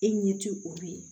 E ɲɛ ti olu ye